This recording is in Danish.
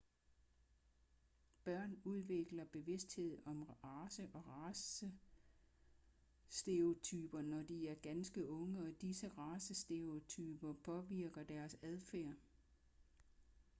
børn udvikler bevidsthed om race og racestereotyper når de er ganske unge og disse racestereotyper påvirker deres adfærd